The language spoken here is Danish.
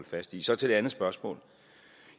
fast i så til det andet spørgsmål